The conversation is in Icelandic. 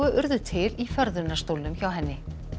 urðu til í förðunarstólnum hjá henni